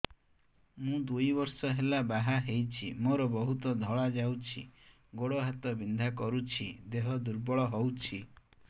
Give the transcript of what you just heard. ମୁ ଦୁଇ ବର୍ଷ ହେଲା ବାହା ହେଇଛି ମୋର ବହୁତ ଧଳା ଯାଉଛି ଗୋଡ଼ ହାତ ବିନ୍ଧା କରୁଛି ଦେହ ଦୁର୍ବଳ ହଉଛି